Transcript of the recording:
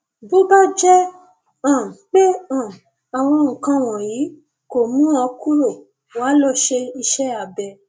bó bá jẹ um pé um àwọn nǹkan wọnyí kò mú un kúrò wá lọ ṣe iṣẹ abẹ